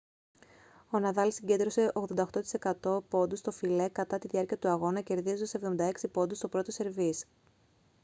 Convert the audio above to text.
ο ναδάλ συγκέντρωσε 88% πόντους στο φιλέ κατά τη διάρκεια του αγώνα κερδίζοντας 76 πόντους στο πρώτο σερβίς